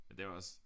Men det er jo også